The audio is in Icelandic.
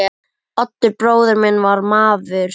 Oddur bróðir minn var maður.